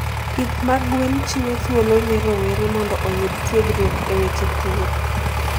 Pith mag gwen chiwo thuolo ne rowere mondo oyud tiegruok e weche pur.